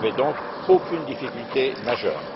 Il n'y avait donc aucune difficulté majeure.